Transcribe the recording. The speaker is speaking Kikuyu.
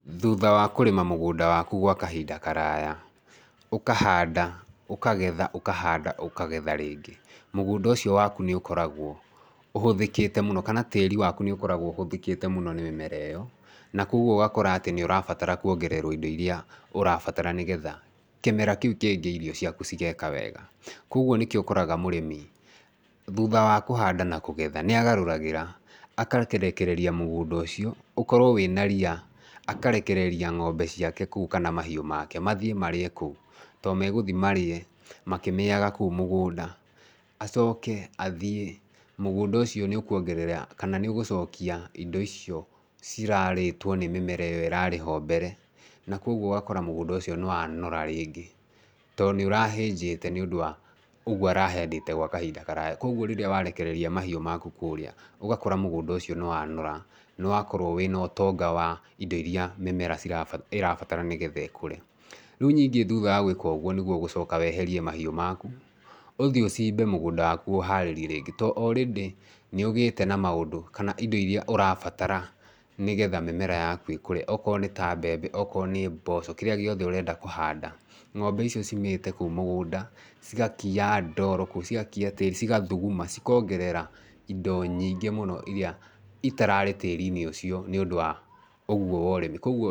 Thutha wa kũrĩma mũgũnda waku gwa kahinda karaya, ũkahanda, ũkagetha, ũkahanda, ũkagetha rĩngĩ, mũgũnda ũcio waku nĩ ũkoragwo ũhũthĩkĩte mũno kana tĩri nĩ ũkoragwo ũhũthĩkĩte mũno nĩ mĩmera ĩyo, na koguo ũgakora atĩ nĩ ũrabatara kuongererwo indo iria ũrabatara, nĩgetha kĩmera kĩu kĩngĩ irio ciaku cigeka wega, koguo nĩkĩo ũkoraga mũrĩmi thutha wa kũhanda na kũgetha nĩ agarũragĩra agakĩrekereria mũgũnda ũcio, ũkorwo wĩna ria akarekereria ng'ombe ciake kũu kana mahiũ make mathiĩ marĩe kũu tondũ magũthiĩ marĩe makĩmĩaga kũu mũgũnda, acoke athiĩ mũgũnda ũcio nĩ ũkuongerera kana nĩ ũgũcokia indo icio cirarĩtwo nĩ mĩmera ĩyo ĩrarĩho mbere, na koguo ũgakora mũgũnda ũcio nĩ wanora rĩngĩ, tondũ nĩ ũrahĩnjĩte nĩũndũ wa ũguo araheanĩte gwa kahinda karaya koguo rĩrĩa warekereria mahiũ maku kũrĩa, ũgakora mũgũnda ũcio nĩ wanora, nĩ wakorwo wĩna ũtonga wa indo iria mĩmera ĩrabatara nĩgetha ĩkũre. Rĩu ningĩ thutha wa gwĩka ũguo nĩguo ũgũcoka weherie mahiũ maku, ũthiĩ ũcimbe mũgũnda waku ũharĩrie ringĩ, tondũ already nĩ ũgĩte na maũndũ kana indo iria ũrabatara, nĩgetha mĩmera yaku ĩkũre, okorwo nĩ ta mbembe, okorwo nĩ mboco, kĩrĩa gĩothe ũrenda kũhanda, ng'ombe icio cimĩte kũu mũgũnda, cigakia ndoro kũu, cigakia tĩri, cigathuguma, cikongerera indo nyingĩ mũno iria itararĩ tĩri-inĩ ũcio nĩũndũ wa ũguo wa ũrĩmi, koguo...